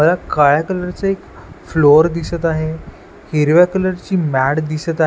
मला काळ्या कलर चा एक फ्लोअर दिसत आहे हिरव्या कलर ची मॅट दिसत आहे.